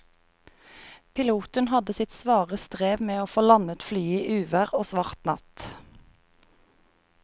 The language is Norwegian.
Piloten hadde sitt svare strev med å få landet flyet i uvær og svart natt.